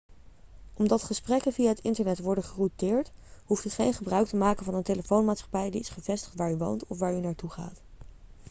omdat gesprekken via het internet worden gerouteerd hoeft u geen gebruik te maken van een telefoonmaatschappij die is gevestigd waar u woont of waar u naartoe gaat